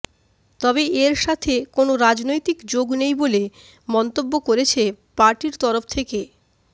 তবে এর সাথে কোন রাজনৈতিক যোগ নেই বলে মন্তব্য করেছে পার্টির তরফ থেকে